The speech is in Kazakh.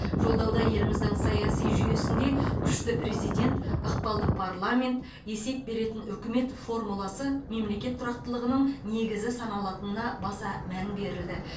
жолдауда еліміздің саяси жүйесінде күшті президент ықпалды парламент есеп беретін үкімет формуласы мемлекет тұрақтылығының негізі саналатынына баса мән берілді